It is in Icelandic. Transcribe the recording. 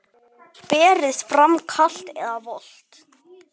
Berið fram kalt eða volgt.